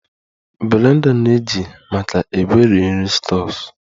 The blender na-eji maka egweri nri stuffs